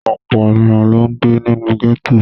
Ọ̀pọ̀ ènìyàn ló ń gbé nínú gẹ́tò.